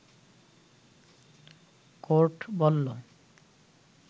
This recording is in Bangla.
কোর্ট বললো